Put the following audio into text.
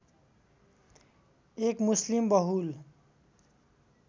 एक मुस्लिम बहुल